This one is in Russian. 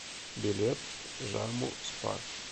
билет жаму спа